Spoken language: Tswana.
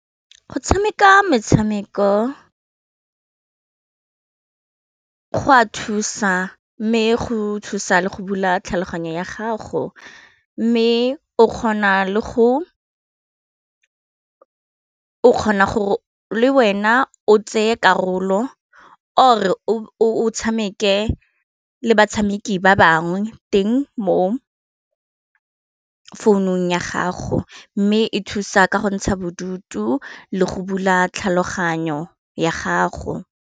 Go tshameka metshameko go a thusa mme go thusa le go bula tlhaloganyo ya gago mme o kgona gore le wena o tseye karolo or o tshameke le batshameki ba bangwe teng mo founung ya gago, mme e thusa ka go ntsha bodutu le go bula tlhaloganyo ya gago.